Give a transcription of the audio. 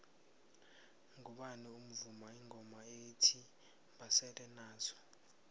ngubani ovuma ingoma ethi basele nazo